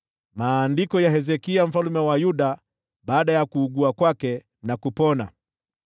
Maandiko ya Hezekia mfalme wa Yuda baada ya kuugua kwake na kupona: